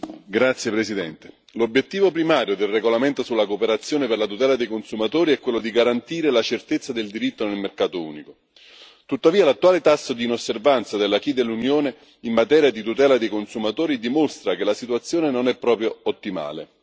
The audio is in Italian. Signor Presidente, onorevoli colleghi, l'obiettivo primario del regolamento sulla cooperazione per la tutela dei consumatori è quello di garantire la certezza del diritto nel mercato unico. Tuttavia, l'attuale tasso di inosservanza dell'acquis dell'Unione in materia di tutela dei consumatori dimostra che la situazione non è proprio ottimale.